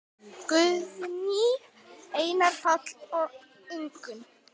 Guðný, Einar, Páll og Ingunn.